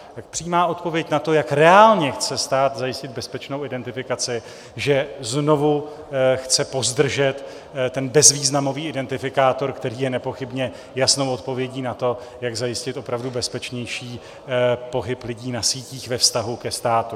Tak přímá odpověď na to, jak reálně chce stát zajistit bezpečnou identifikaci, že znovu chce pozdržet ten bezvýznamový identifikátor, který je nepochybně jasnou odpovědí na to, jak zajistit opravdu bezpečnější pohyb lidí na sítích ve vztahu ke státu.